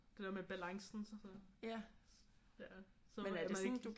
Det der med balancen sådan så man ikke